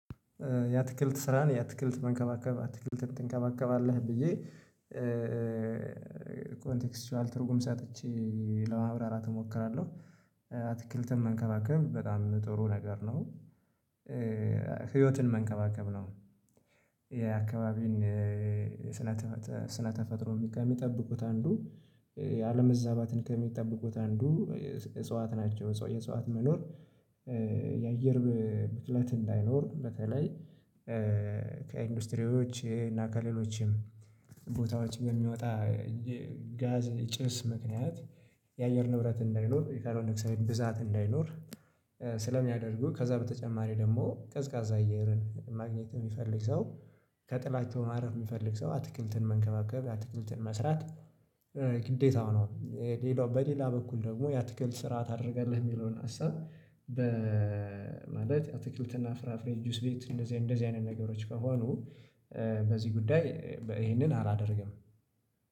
ያትክልት ስራህን ያትክልት መንከባከብ አትክልት ትንከባከባለህ ብዬ ኮንቴክስቹዋል ትርጉም ሰጥቼ ለማብራራት እሞክራለሁ አትክልትም መንከባከብ በጣም ጥሩ ነገር ነው። ህይወትን መንከባከብ ነው። የአካባቢን ስነ ስነ ተፈጥሮ ከሚጠብቁት አንዱ የአለም መዛባትን ከሚጠብቁት አንዱ እጽዋት ናቸው። የእጽዋት መኖር የአየር ብክለት እንዳይኖር በተለይ ከኢንዱስትሪዎች እና ከሌሎችም ቦታዎች በሚወጣ ጋዝ የጭስ ምክንያት የአየር ንብረት እንዳይኖር የካርበንዶክሳይድ ብዛት እንዳይኖር። ስለሚያደርጉ ከዛ በተጨማሪ ደግሞ ቀዝቃዛ አየርን ማግኘት የሚፈልግ ሰው ከጥላቻው ማድረግ የሚፈልግ ሰው አትክልትን መንከባከብ አትክልትን መስራት ግዴታው ነው። ሌላው በሌላ በኩል ደግሞ የአትክልት ስርዓት አደረገልህ የሚለውን ሀሳብ በማለት የአትክልትና ፍራፍሬ ጁስ ቤት እንደዚህ እንደዚህ አይነት ነገሮች ከሆኑ በዚህ ጉዳይ ይሄንን አላደርግም